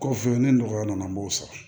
Kɔfɛ ni nɔgɔya nana an b'o sɔrɔ